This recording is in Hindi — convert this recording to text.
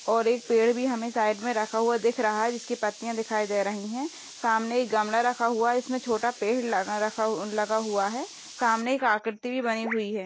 और एक पेड़ भी हमे साइड मे रखा हुआ दिख रहा है जिस की पत्तिया दिखाई दे रही है सामने एक गमला रखा हुआ है जिस मे छोटा पेड़ लगा रखा लगा हुआ है सामने एक आकृति भी बनी हुई है।